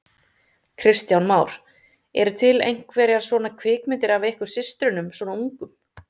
Kristján Már: Eru til einhverjar svona kvikmyndir af ykkur systrunum svona ungum?